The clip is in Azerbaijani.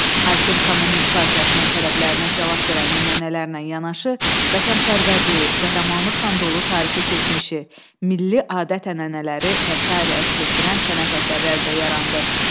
Hakim kommunist partiyasının tələblərinə cavab verən nümunələrlə yanaşı, vətənpərvərliyi, qəhrəmanlıqla dolu tarixi keçmişi, milli adət-ənənələri və sair əks etdirən sənət əsərlər də yarandı.